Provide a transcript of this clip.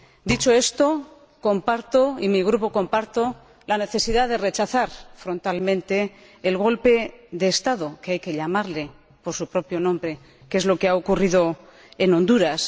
Dicho esto, comparto —y mi Grupo comparte— la necesidad de rechazar frontalmente el golpe de Estado —hay que llamarlo por su propio nombre—, que es lo que ha ocurrido en Honduras.